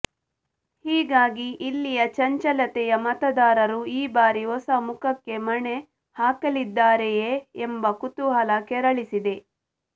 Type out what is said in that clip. ಹೀಗಾಗಿ ಇಲ್ಲಿಯ ಚಂಚಲತೆಯ ಮತದಾರರು ಈ ಬಾರಿ ಹೊಸ ಮುಖಕ್ಕೆ ಮಣೆ ಹಾಕಲಿದ್ದಾರೆಯೇ ಎಂಬ ಕುತೂಹಲ ಕೆರಳಿಸಿದೆ